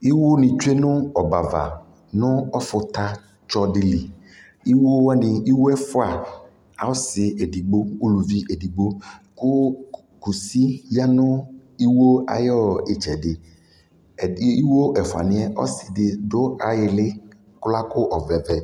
Iwo ni tsue nʋ ɔbava nʋ ɔfuta tsɔdi lι Iwowani iwo ɛfua ɔsi edigbo uluvi edigbo kʋ kʋsi ya nʋ iwowani ayʋ itsɛdι Ɛdi iwo ɛfuani yɛ ɔsidι dʋ ayʋ iili kʋ lakɔ ɔvlɛ vɛ